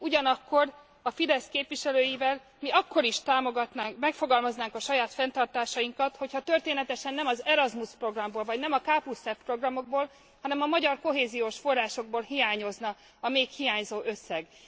Ugyanakkor a Fidesz képviselőivel mi akkor is támogatnánk, megfogalmaznánk a saját fenntartásainkat, hogyha történetesen nem az Erasmus programból vagy nem a KF programokból, hanem a magyar kohéziós forrásokból hiányozna a még hiányzó összeg.